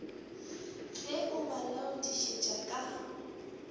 ge a ba laodišetša ka